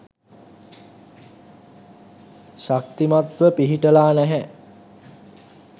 ශක්තිමත්ව පිහිටලා නෑ.